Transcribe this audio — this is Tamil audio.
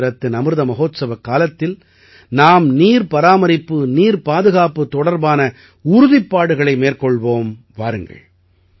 சுதந்திரத்தின் அமிர்த மஹோத்சவக் காலத்தில் நாம் நீர் பராமரிப்பு நீர் பாதுகாப்பு தொடர்பான உறுதிப்பாடுகளை மேற்கொள்வோம் வாருங்கள்